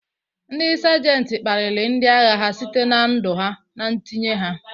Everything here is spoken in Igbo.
Ndị Sajenta kpaliri ndị agha ha site na ndu ha na ntinye ha..